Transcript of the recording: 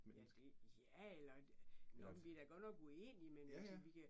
Ja, det ja, eller det, nå men vi da godt nok uenige, men vi altså vi kan